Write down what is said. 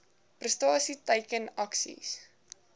prestasie teiken aksies